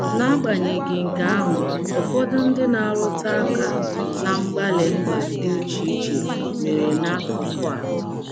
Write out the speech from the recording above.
N'agbanyeghị nke ahụ, ụfọdụ ndị na - arụta aka ná mgbalị mba um dị iche iche mere n’akụkụ a.